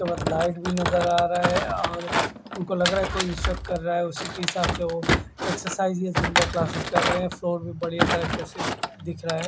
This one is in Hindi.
तो बस लाइट भी नज़ारा आ रहा है और उनको लग रहा है कोई शक क्र रहा है उसी के हिसाब से वो एक्सरसाइज में जंबो क्लासेज कर रहे है फ्लोर भी बढ़िया तरीके से दिख रहा है।